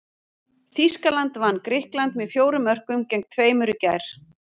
Þýskaland vann Grikkland með fjórum mörkum gegn tveimur í gær.